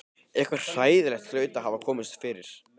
Eitthvað hræðilegt hlaut að hafa komið fyrir.